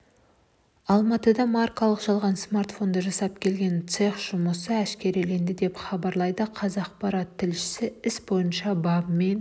алматыда маркалы жалған смартфондар жасап келген цех жұмысы әшкереленді деп хабарлайды қазақпарат тілшісі іс бойынша бабымен